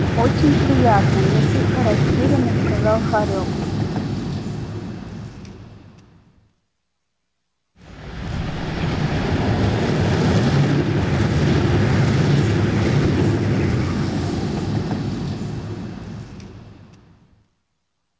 очень приятно несколько растерянно сказал хорёк